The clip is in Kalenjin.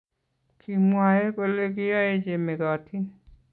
kimwoe kole kiyoe che mekotin